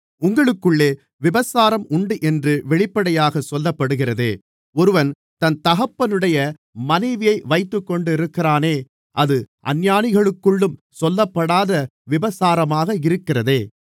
உங்களுக்குள்ளே விபசாரம் உண்டென்று வெளிப்படையாக சொல்லப்படுகிறதே ஒருவன் தன் தகப்பனுடைய மனைவியை வைத்துக்கொண்டிருக்கிறானே அது அஞ்ஞானிகளுக்குள்ளும் சொல்லப்படாத விபசாரமாக இருக்கிறதே